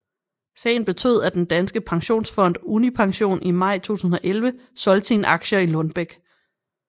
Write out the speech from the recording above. Sagen betød af den danske pensionsfund Unipension i maj 2011 solgte sine aktier i Lundbeck